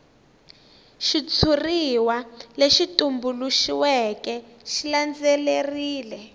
xitshuriwa lexi tumbuluxiweke xi landzelerile